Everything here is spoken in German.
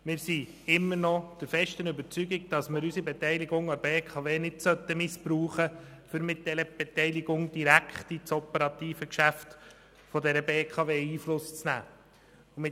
Wir sind immer noch der festen Überzeugung, dass wir unsere Beteiligung an der BKW nicht missbrauchen sollen, um direkt auf ihr operatives Geschäft Einfluss zu nehmen.